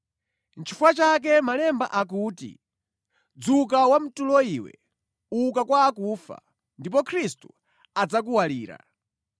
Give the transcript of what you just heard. Nʼchifukwa chake Malemba akuti, “Dzuka, wamtulo iwe, uka kwa akufa, ndipo Khristu adzakuwalira.”